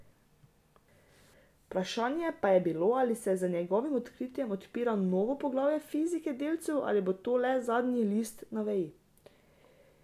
Vprašanje pa je, ali se z njegovim odkritjem odpira novo poglavje fizike delcev ali bo to le zadnji list na veji.